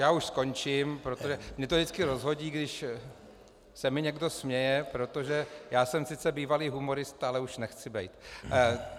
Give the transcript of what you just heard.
Já už skončím, protože mě to vždycky rozhodí, když se mi někdo směje, protože já jsem sice bývalý humorista, ale už nechci být.